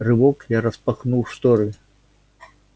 рывок я распахнул шторы